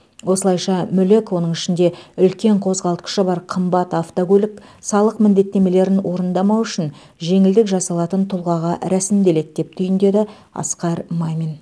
осылайша мүлік оның ішінде үлкен қозғалтқышы бар қымбат автокөлік салық міндеттемелерін орындамау үшін жеңілдік жасалатын тұлғаға рәсімделеді деп түйіндеді асқар мамин